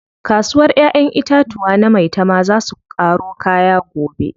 Kasuwar ƴaƴen itatuwa na maitama zaa su ƙaro kaya gobe.